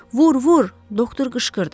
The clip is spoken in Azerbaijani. Vur, vur, doktor qışqırdı.